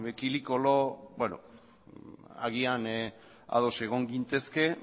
kili kolo beno agian ados egon gintezke